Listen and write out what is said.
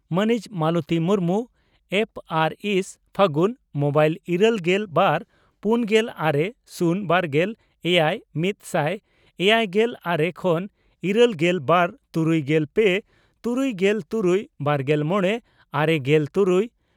ᱢᱟᱹᱱᱤᱡ ᱢᱟᱞᱚᱛᱤ ᱢᱩᱨᱢᱩ, ᱾ᱯᱹ ᱟᱨ ᱥᱹ, ᱯᱷᱟᱹᱜᱩᱱ᱾ᱢᱚᱵᱹ ᱤᱨᱟᱹᱞᱜᱮᱞ ᱵᱟᱨ ,ᱯᱩᱱᱜᱮᱞ ᱟᱨᱮ ,ᱥᱩᱱ ᱵᱟᱨᱜᱮᱞ ᱮᱭᱟᱭ ,ᱢᱤᱛᱥᱟᱭ ᱮᱭᱟᱭᱜᱮᱞ ᱟᱨᱮ ᱠᱷᱚᱱ ᱤᱨᱟᱹᱞᱜᱮᱞ ᱵᱟᱨ ᱛᱩᱨᱩᱭᱜᱮᱞ ᱯᱮ ,ᱛᱩᱩᱭᱜᱮᱞ ᱛᱩᱨᱩᱭ ,ᱵᱟᱨᱜᱮᱞ ᱢᱚᱲᱮ ,ᱟᱨᱮᱜᱮᱞ ᱛᱩᱨᱩᱭ